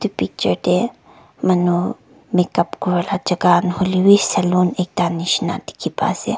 picture te manu makeup kura la jaga nahoilebi salon ekta nishe na dikhi pa ase.